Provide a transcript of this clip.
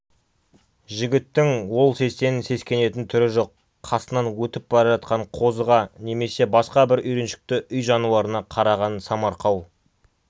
жігіттің ол сестен сескенетін түрі жоқ қасынан өтіп бара жатқан қозыға немесе басқа бір үйреншікті үй жануарына қараған самарқау